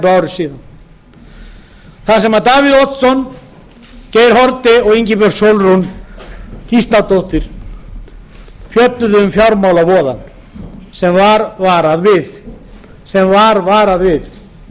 tæpu ári þar sem davíð oddsson geir haarde og ingibjörg sólrún gísladóttir fjölluðu um fjármálavoðann sem var varað við upplýsingagjöf